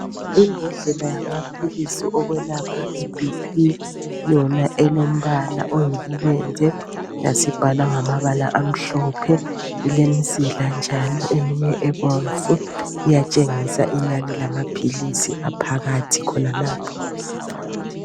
Imbodlela yamaphilisi okwelapha ibhi phi, yona elombala oyibubende, yasibhalwa ngamabala amhlophe, ilemzila njalo eminye ebomvu. Iyatshengisa inani lamaphilisi eliphakathi khonalapho.